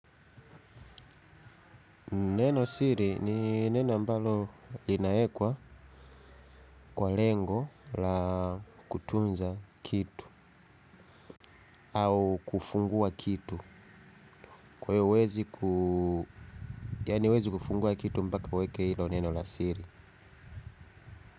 Neno siri ni neno ambalo linawekwa kwa lengo la kutunza kitu au kufungua kitu. Kwa iyo huwezi kufungua kitu mbaka uweke ilo neno la siri.